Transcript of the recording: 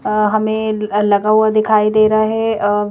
अहमें विलगा हुआ दिखाई दे रहा हैअअ--